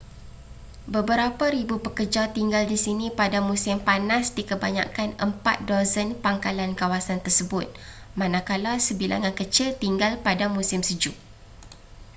beberapa ribu pekerja tinggal di sini pada musim panas di kebanyakan empat dozen pangkalan kawasan tersebut manakala sebilangan kecil tinggal pada musim sejuk